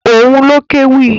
Òun ló kéwì.